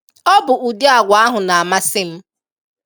Ọ bụ udi agwa ahụ na-amasị m